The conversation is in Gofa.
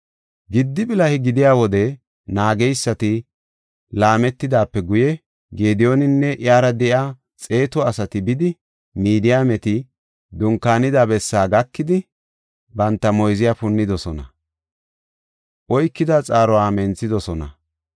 Giddi bilahe gidiya wode naageysati laametidaape guye Gediyooninne iyara de7iya xeetu asati bidi, Midiyaameti dunkaanida bessaa gakidi banta moyziya punnidosona; oykida xaaruwa menthidosona.